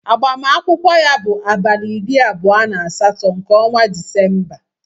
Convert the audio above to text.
Agbamakwụkwọ ya bụ abalị iri abụọ na asatọ nke ọnwa Disemba.